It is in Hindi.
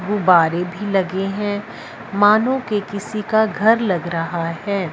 गुब्बारे भीं लगे हैं मानो के किसी का घर लग रहा हैं।